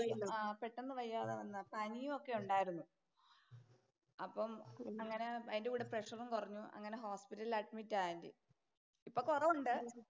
ആഹ് പെട്ടന്ന് വയ്യാതായതാ. പനിയുമൊക്കെ ഒണ്ടാരുന്നു. അപ്പം അങ്ങനെ അതിന്‍റെ കൂടെ പ്രഷറും കൊറഞ്ഞു അങ്ങനെ ഹോസ്പിറ്റലില്‍ അഡ്മിറ്റായി. ഇപ്പൊ കൊറവുണ്ട്.